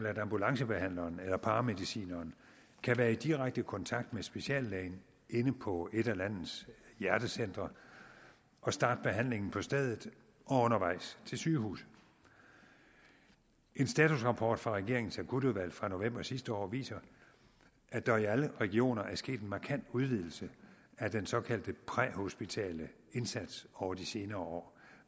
at ambulancebehandleren eller paramedicineren kan være i direkte kontakt med speciallægen inde på et af landets hjertecentre og starte behandlingen på stedet og undervejs til sygehuset en statusrapport fra regeringens akutudvalg fra november sidste år viser at der i alle regioner er sket en markant udvidelse af den såkaldte præhospitale indsats over de senere år